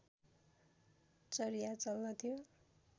चर्या चल्दथ्यो